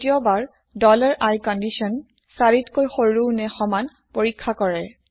দ্বিতীয় বাৰ i কন্দিচ্যন ৪কৈ সৰু নে সমান পৰীক্ষা কৰে